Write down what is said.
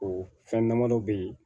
O fɛn damadɔ bɛ ye